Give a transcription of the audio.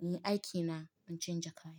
in yi dakina, in canja kaya.